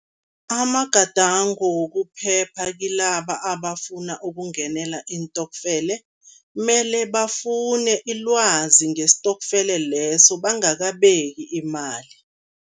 Amagadango wokuphepha kilaba abafuna ukungenela iintokfele, mele bafune ilwazi ngesitokfele leso, bangakabeki imali.